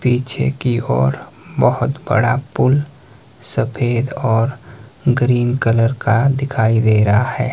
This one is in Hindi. पीछे की ओर बहोत बड़ा पुल सफेद और ग्रीन कलर का दिखाई दे रहा है।